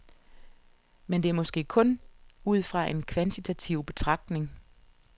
Men det er måske kun ud fra en kvantitativ betragtning.